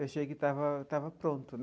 Eu achei que estava estava pronto.